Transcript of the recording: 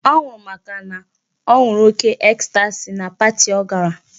Ọ nwụrụ màkà na ọ ṅụrụ oke ecstasy na party ọ gara.